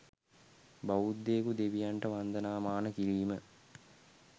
බෞද්ධයකු දෙවියන්ට වන්දනාමාන කිරීම